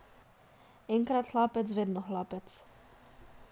Enkrat hlapec, vedno hlapec.